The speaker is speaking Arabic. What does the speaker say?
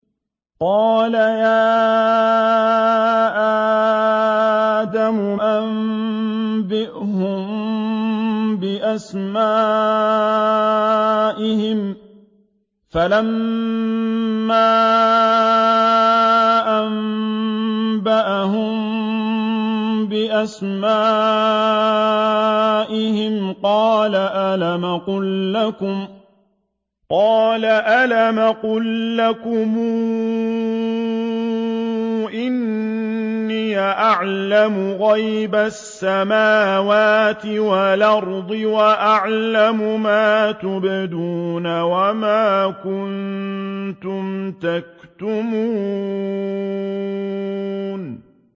قَالَ يَا آدَمُ أَنبِئْهُم بِأَسْمَائِهِمْ ۖ فَلَمَّا أَنبَأَهُم بِأَسْمَائِهِمْ قَالَ أَلَمْ أَقُل لَّكُمْ إِنِّي أَعْلَمُ غَيْبَ السَّمَاوَاتِ وَالْأَرْضِ وَأَعْلَمُ مَا تُبْدُونَ وَمَا كُنتُمْ تَكْتُمُونَ